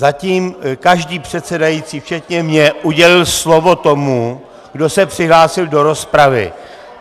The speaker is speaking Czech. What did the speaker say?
Zatím každý předsedající včetně mě udělil slovo tomu, kdo se přihlásil do rozpravy.